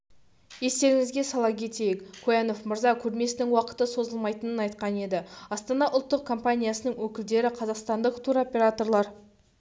естеріңізге сала кетейік куянов мырза көрмесінің уақыты созылмайтынын айтқан еді астана ұлттық компаниясының өкілдері қазақстандық туроператорлар